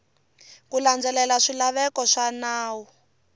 ku landzelela swilaveko swa nawu